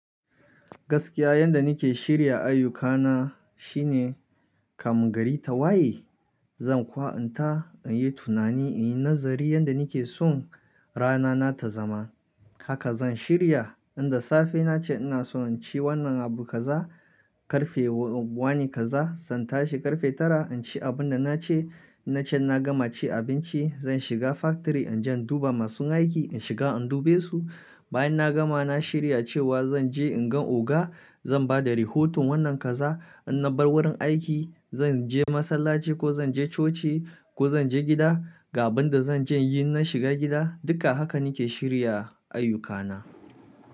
Gaskiya yanda nake shirya ayyukana shine kan gari ta waye, zan kukuta in yi tunani in yi nazari yanda nake son rana nata zama. Haka zan shirya, in da safe nace ina so in ci wannan abu kaza, karfe wani kaza zan tashi karfe tara in ci abun da nace. In nace na gama ci abinci zan shiga factory in je in duba masun aiki, in shiga in dube su. Bayan na gama na shirya cewa zan je in gan oga zan bada rihotun wannan kaza. In na bar wurin aiki zan je masallaci ko zan je coci ko zan je gida, ga banda zan je yin na shiga gida. Duk da haka nake shirya ayyukana.